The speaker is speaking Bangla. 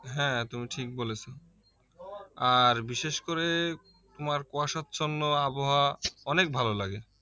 হ্যাঁ তুমি ঠিক বলেছো আর বিশেষ করে তোমার কুয়াশাচ্ছন্ন আবহাওয়া অনেক ভালো লাগে